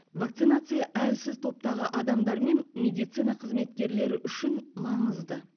вакцинация әлсіз топтағы адамдар мен медицина қызметкерлері үшін маңызды